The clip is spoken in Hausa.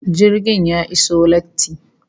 Jirgin ya iso latti